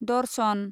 दर्शन